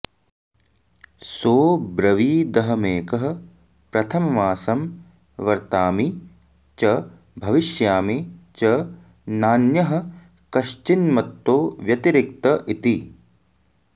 सोऽब्रवीदहमेकः प्रथममासं वर्तामि च भविश्यामि च नान्यः कश्चिन्मत्तो व्यतिरिक्त इति